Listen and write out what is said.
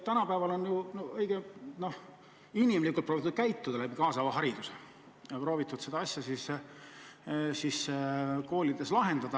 Tänapäeval on proovitud käituda inimlikult läbi kaasava hariduse ja on proovitud seda asja koolides lahendada.